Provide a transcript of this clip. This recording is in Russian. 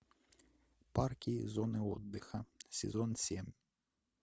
парки и зоны отдыха сезон семь